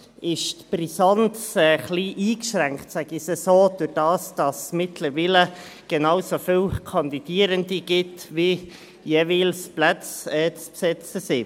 Allerdings ist die Brisanz dadurch etwas eingeschränkt – ich sage es so –, dass es mittlerweile genauso viele Kandidierende gibt wie jeweils Plätze zu besetzen sind.